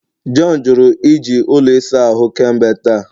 John jụrụ iji ụlọ ịsa ahụ kemgbe taa